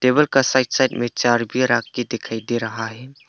Table के side side में चार बीयर आंख की दिखाई दे रहा है।